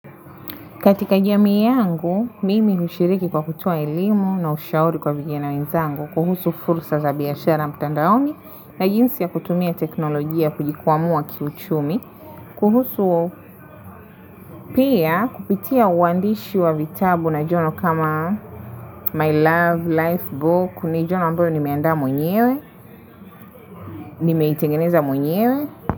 Katika jamii yangu, mimi hushiriki kwa kutoa elimu na ushauri kwa vijana wenzangu kuhusu fursa za biashara mtandaoni na jinsi ya kutumia teknolojia kujikwamua kiuchumi. Kuhusu pia kupitia uandishi wa vitabu na journal kama My Love Life Book ni journal ambayo nimeaanda mwenyewe, nimeitengeneza mwenyewe.